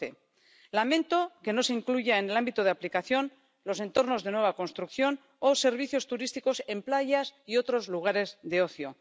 112. Lamento que no se incluyan en el ámbito de aplicación los entornos de nueva construcción o servicios turísticos en playas y otros lugares de ocio.